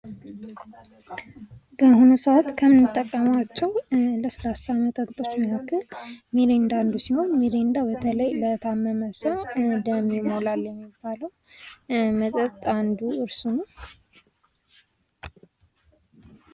ውሃ : ንጹህና ቀለም የሌለው፣ ሽታ የሌለው ፈሳሽ ሲሆን የሰው ልጅ ሕይወት መሠረት ነው። ጥማትን ለማስታገስና የሰውነትን ፈሳሽ ሚዛን ለመጠበቅ ዋነኛው መጠጥ ነው።